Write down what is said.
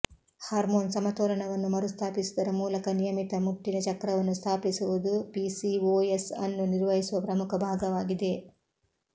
hormone ಸಮತೋಲನವನ್ನು ಮರುಸ್ಥಾಪಿಸುವುದರ ಮೂಲಕ ನಿಯಮಿತ ಮುಟ್ಟಿನ ಚಕ್ರವನ್ನು ಸ್ಥಾಪಿಸುವುದು ಪಿಸಿಓಎಸ್ ಅನ್ನು ನಿರ್ವಹಿಸುವ ಪ್ರಮುಖ ಭಾಗವಾಗಿದೆ